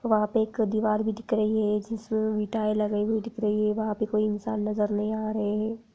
वहां पे एक दीवार भी दिख रही है जिस में टाईल्स लगी हुई दिख रही हैवहां पर कोई इंसान नज़र नहीं आ रहे हैं।